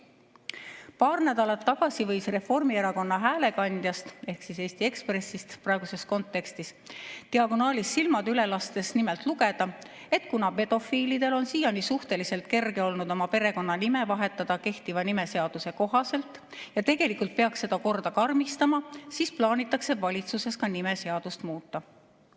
Paar nädalat tagasi võis Reformierakonna häälekandjast ehk praeguses kontekstis Eesti Ekspressist diagonaalis silmadega üle lastes nimelt lugeda, et kuna pedofiilidel on siiani suhteliselt kerge olnud oma perekonnanime vahetada kehtiva nimeseaduse kohaselt ja tegelikult peaks seda korda karmistama, siis plaanitakse valitsuses nimeseadust muuta.